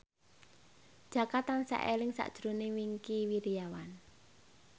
Jaka tansah eling sakjroning Wingky Wiryawan